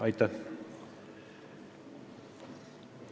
Aitäh!